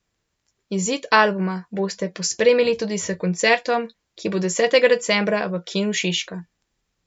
Izid albuma boste pospremili tudi s koncertom, ki bo desetega decembra v Kinu Šiška.